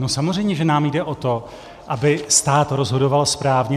No samozřejmě, že nám jde o to, aby stát rozhodoval správně.